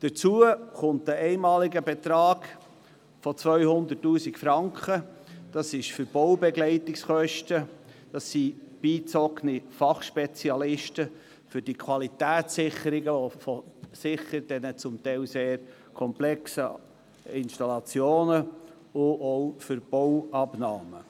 Hinzu kommt ein einmaliger Betrag von 200 000 Franken für die Baubegleitungskosten, beigezogene Fachspezialisten und die Qualitätssicherungen der sicher sehr komplexen Installationen sowie für die Bauabnahmen.